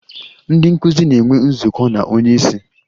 Ndị nkụzi na-enwe nzukọ na onye isi.